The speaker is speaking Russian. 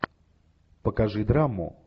покажи драму